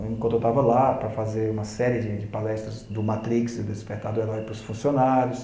Me contratava lá para fazer uma série de palestras do Matrix, do Despertar do Herói, para os funcionários.